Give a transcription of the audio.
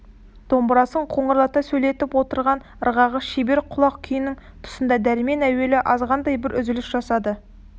домбырасын қоңырлата сөйлетіп отырған ырғағы шебер құлақ күйінің тұсында дәрмен әуелі азғантай бір үзіліс жасады